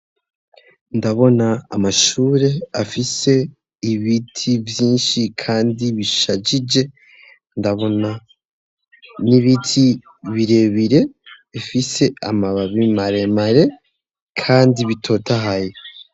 Ndabona amashure afise ibiti vyinshi kandi bishajije ndabona n'ibiti bire bire ifise amababi mare mare kandi bitotahaye.